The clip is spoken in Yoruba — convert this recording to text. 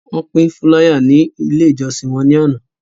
Wọ́n pín fúláyà ní Ilé-ìjọsìn wọn lánàá.